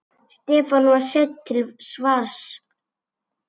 Stefán var seinn til svars.